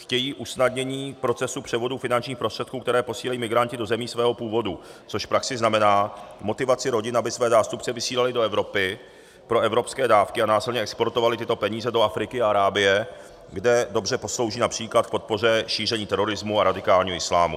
Chtějí usnadnění procesu převodu finančních prostředků, které posílají migranti do zemí svého původu, což v praxi znamená motivaci rodin, aby své zástupce vysílali do Evropy pro evropské dávky a následně exportovali tyto peníze do Afriky a Arábie, kde dobře poslouží například k podpoře šíření terorismu a radikálního islámu.